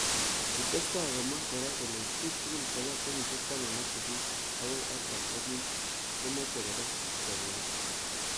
Kitestai komwa kora kole bik tugul chebo kenyishe taman ak sisit akoi artam ak mut ko meche koba somanet.